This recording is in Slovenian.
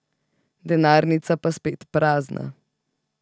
Denarnica pa spet prazna.